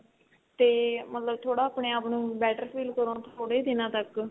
ਤੇ ਮਤਲਬ ਥੋੜਾ ਆਪਣੇ ਆਪ ਨੂੰ better feel ਕਰੋ ਥੋੜੇ ਦਿਨਾਂ ਤੱਕ